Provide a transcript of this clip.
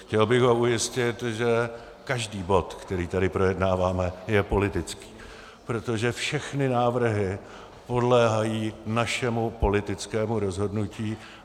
Chtěl bych ho ujistit, že každý bod, který tady projednáváme, je politický, protože všechny návrhy podléhají našemu politickému rozhodnutí.